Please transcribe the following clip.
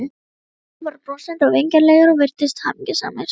Allir voru brosandi og vingjarnlegir og virtust hamingjusamir.